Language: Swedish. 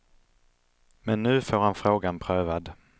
Men nu får han frågan prövad.